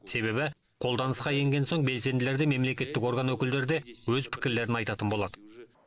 себебі қолданысқа енген соң белсенділер де мемлекеттік орган өкілдері де өз пікірлерін айтатын болады